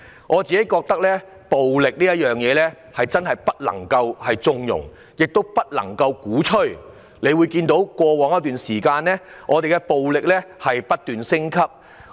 我認為暴力絕不能縱容，亦絕不能鼓吹，因為我們看到暴力已在過往一段時間不斷升級。